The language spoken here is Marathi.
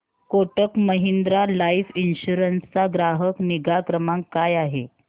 कोटक महिंद्रा लाइफ इन्शुरन्स चा ग्राहक निगा क्रमांक काय आहे